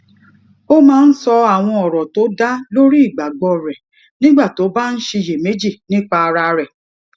ó máa ń sọ àwọn òrò tó dá lórí ìgbàgbó rè nígbà tó bá ń ṣiyèméjì nípa ara rè